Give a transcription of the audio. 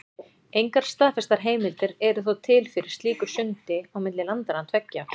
Engar staðfestar heimildir eru þó til fyrir slíku sundi á milli landanna tveggja.